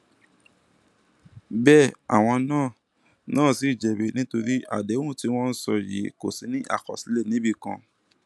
bẹẹ àwọn náà náà ṣì jẹbi nítorí àdéhùn tí wọn ń sọ yìí kò sì ní àkọsílẹ níbì kan